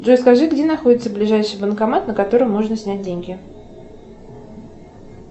джой скажи где находится ближайший банкомат на котором можно снять деньги